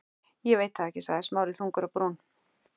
Ég veit það ekki- sagði Smári þungur á brún.